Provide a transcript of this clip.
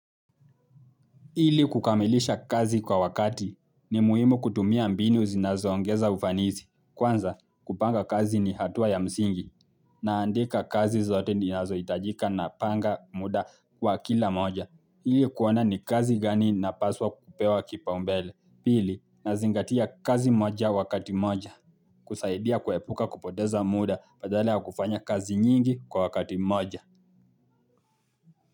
Ili kukamilisha kazi kwa wakati ni muhimu kutumia mbinu zinazoongeza ufanisi. Kwanza kupanga kazi ni hatua ya msingi naandika kazi zote ninazohitajika napanga muda wa kila moja. Ili kuona ni kazi gani inapaswa kupewa kipaumbele. Pili nazingatia kazi moja wakati mmoja kusaidia kuepuka kupoteza muda badala ya kufanya kazi nyingi kwa wakati mmoja.